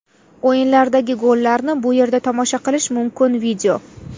O‘yinlardagi gollarni bu yerda tomosha qilish mumkin video .